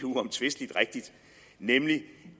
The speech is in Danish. uomtvistelig rigtigt nemlig